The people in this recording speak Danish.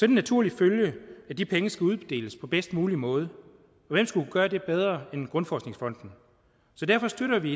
en naturlig følge at de penge skal uddeles på bedst mulig måde og hvem skulle gøre det bedre end danmarks grundforskningsfond så derfor støtter vi